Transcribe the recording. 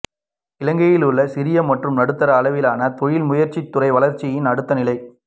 இலங்கையுள்ள சிறிய மற்றும் நடுத்தர அளவிலான தொழில் முயற்சித்துறை வளர்ச்சியின் அடுத்த நிலை